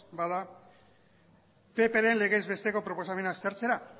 bada ppren legez besteko proposamena aztertzera